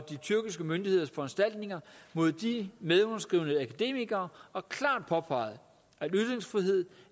de tyrkiske myndigheders foranstaltninger mod de medunderskrivende akademikere og klart påpeget at ytringsfrihed